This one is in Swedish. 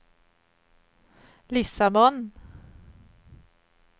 Lissabon